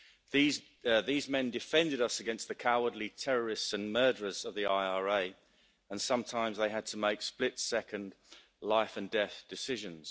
These men defended us against the cowardly terrorists and murderers of the IRA and sometimes they had to make split second life and death decisions.